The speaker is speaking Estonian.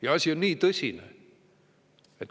Ja asi on tõsine.